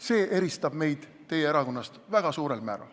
See eristab meid teie erakonnast väga suurel määral.